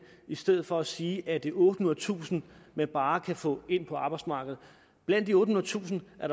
i stedet for at sige at det er ottehundredetusind man bare kan få ind på arbejdsmarkedet blandt de ottehundredetusind er